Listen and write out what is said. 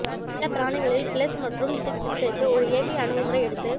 செல்லப்பிராணிகளில் fleas மற்றும் ticks சிகிச்சைக்கு ஒரு இயற்கை அணுகுமுறை எடுத்து